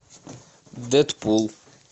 дэдпул